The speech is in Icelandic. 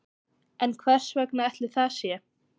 En hvers vegna ætli það sé?